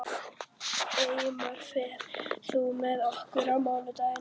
Eymar, ferð þú með okkur á mánudaginn?